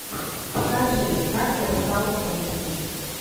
покажи как я стал русским